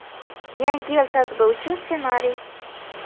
Yangi yil tadbiri uchun ssenariy.